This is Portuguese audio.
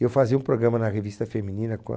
Eu fazia um programa na revista feminina com a...